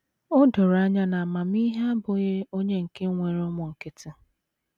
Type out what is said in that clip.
O doro anya na amamihe abụghị onye nke nwere ụmụ nkịtị!